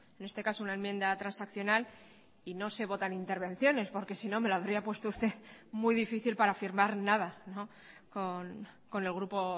en este caso una enmienda transaccional y no se votan intervenciones porque sino me lo habría puesto usted muy difícil para firmar nada con el grupo